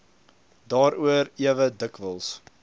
daaroor ewe dikwels